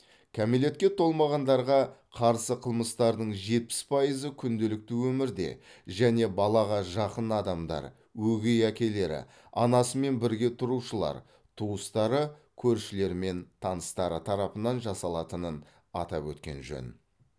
кәмелетке толмағандарға қарсы қылмыстардың жетпіс пайызы күнделікті өмірде және балаға жақын адамдар өгей әкелері анасымен бірге тұрушылар туыстары көршілері мен таныстары тарапынан жасалатынын атап өткен жөн